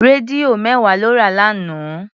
Rédíò mẹ́wàá lọ rà lánàá.